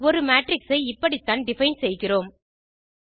ஒரு மேட்ரிக்ஸ் ஐ இப்படித்தான் டிஃபைன் செய்கிறோம்